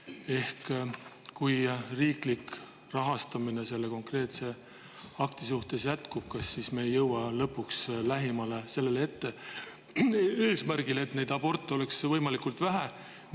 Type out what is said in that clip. Kas me sel juhul, kui me riiklikku rahastamist selle konkreetse akti puhul jätkame, ei jõua lõpuks lähemale eesmärgile, et neid aborte oleks võimalikult vähe?